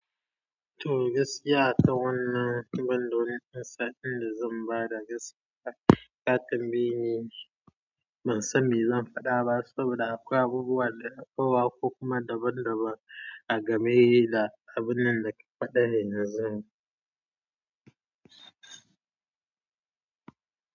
To gaskiya akan wannan to banda wani lissafin da zan bada gaskiya Katambaye ne, ban sani me zan faɗa ba saboda akwai abubuwa da aka yi wa ko kuma daban daban a game da abinnan daka faɗa ne yanzun.